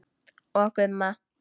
Og Gumma.